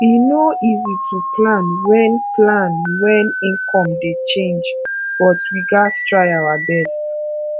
e no easy to plan wen plan wen income dey change but we gats try our best